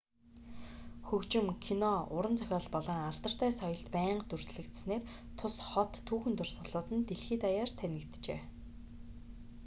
хөгжим кино уран зохиол болон алдартай соёлд байнга дүрслэгдсэнээр тус хот түүхэн дурсгалууд нь дэлхий даяар танигджээ